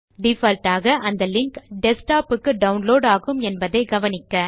default ஆக அந்த link desktop க்கு டவுன்லோட் ஆகும் என்பதை கவனிக்க